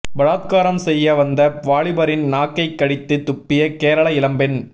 பலாத்காரம் செய்ய வந்த வாலிபரின் நாக்கை கடித்து துப்பிய கேரள இளம்பெண்